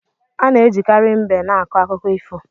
Ana ejikari mbe na akọ akụkọ ifo.